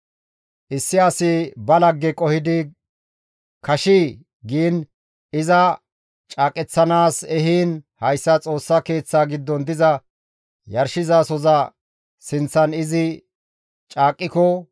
«Issi asi ba lagge qohidi kashii giin iza caaqeththanaas ehiin hayssa Xoossa Keeththaa giddon diza yarshizasoza sinththan izi caaqqiko,